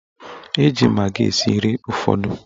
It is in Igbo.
Eji magị esi nri ụfọdụ.